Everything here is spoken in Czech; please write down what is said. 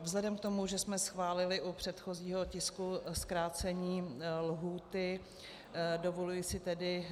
Vzhledem k tomu, že jsme schválili u předchozího tisku zkrácení lhůty, dovoluji si tedy